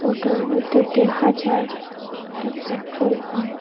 ফটোর মধ্যে দেহা যায় একটা পেট্রোল পাম্প ।